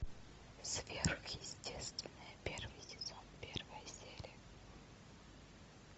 сверхъестественное первый сезон первая серия